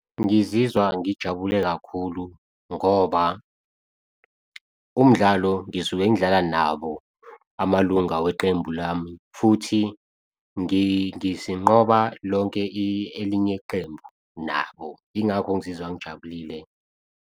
Ngizizwa ngijabule kakhulu ngoba, umdlalo ngisuke ngidlala nabo amalunga weqembu lami futhi sinqoba lonke elinye iqembu nabo. Yingakho ngizizwa ngijabulile.